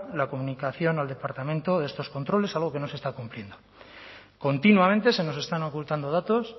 la comunicación al departamento de estos controles algo que no se está cumpliendo continuamente se nos están ocultando datos